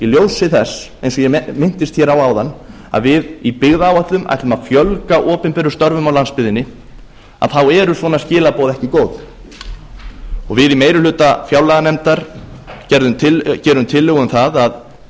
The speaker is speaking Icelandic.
ljósi þess eins og ég minntist hér á áðan að við í byggðaáætlun ætlum að fjölga opinberum störfum á landsbyggðinni þá eru svona skilaboð ekki góð og við í meiri hluta fjárlaganefndar gerum tillögu um það að